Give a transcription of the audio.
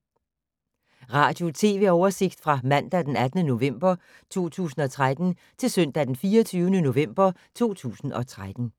Radio/TV oversigt fra mandag d. 18. november 2013 til søndag d. 24. november 2013